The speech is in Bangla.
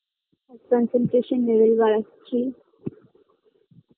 Concentration level বাড়াচ্ছি